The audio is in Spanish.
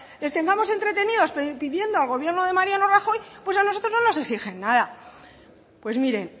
les tengamos entretenidos pidiendo al gobierno de mariano rajoy pues a nosotros no nos exigen nada pues mire